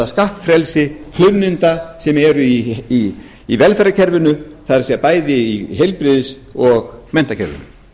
skattfrelsi hlunninda sem eru í velferðarkerfinu það er bæði í heilbrigðis og menntakerfinu